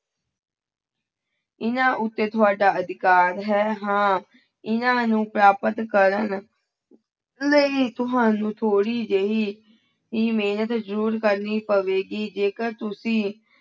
ਇਹਨਾਂ ਉੱਤੇ ਤੁਹਾਡਾ ਅਧਿਕਾਰ ਹੈ ਹਾਂ ਇਹਨਾਂ ਨੂੰ ਪ੍ਰਾਪਤ ਕਰਨ ਲਈ ਤੁਹਾਨੂੰ ਥੋੜ੍ਹੀ ਜਿਹੀ ਹੀ ਮਿਹਨਤ ਜ਼ਰੂਰ ਕਰਨੀ ਪਵੇਗੀ ਜੇਕਰ ਤੁਸੀਂ